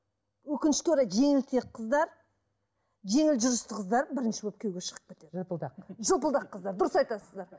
өкінішке орай жеңілтек қыздар жеңіл жүрісті қыздар бірінші болып күйеуге шығып кетеді жырпылдақ жырпылдақ қыздар дұрыс айтасыздар